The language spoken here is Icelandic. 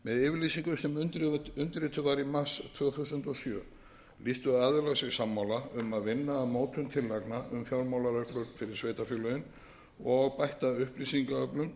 yfirlýsingu sem undirrituð bar í mars tvö þúsund og sjö lýstu aðilar sig sammála um að vinna að mótun tillagna um fjármálareglur fyrir sveitarfélögin og bætta upplýsingaöflun sem tryggt